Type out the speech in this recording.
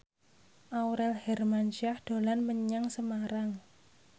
Aurel Hermansyah dolan menyang Semarang